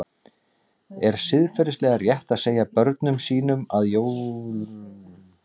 Er siðferðilega rétt að segja börnum sínum að jólasveinar séu til?